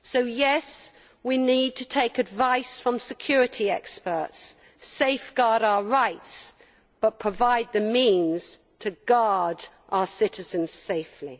Yes, we need to take advice from security experts, safeguard our rights, but provide the means to guard our citizens' safety.